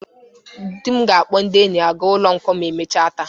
Dị m ga-akpọ ndị enyi ya ga ụlọ nkwọ emecha taa.